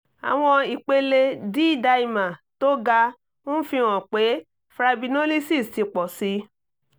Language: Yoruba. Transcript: àwọn ipele d-dimer tó ga ń fi hàn pé fibrinolysis ti pọ̀ sí i